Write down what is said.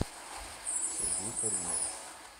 сергей каримов